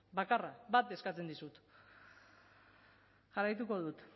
bakarra bat eskatzen dizut jarraituko dut